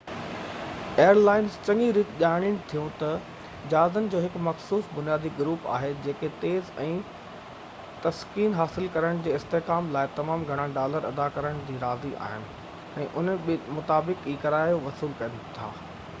air lines چڱي ريت ڄاڻين ٿيون ته جهازن جو هڪ مخصوص بنيادي گروپ آهي جيڪي تيز ۽ تسڪين حاصل ڪرڻ جي استحڪام لاءِ تمام گهڻا ڊالر ادا ڪرڻ تي راضي آهن ۽ انهي مطابق ئي ڪرايو وصول ڪن ٿا